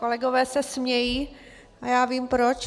Kolegové se smějí a já vím proč.